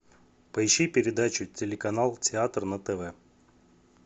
поищи передачу телеканал театр на тв